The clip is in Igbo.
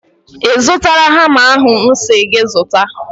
I zụtala hama ahụ m si gị zụta?